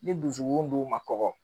Ni dusukun dun ma kɔgɔ